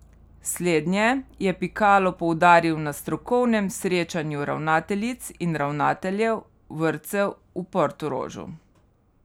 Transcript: Slednje je Pikalo poudaril na strokovnem srečanju ravnateljic in ravnateljev vrtcev v Portorožu.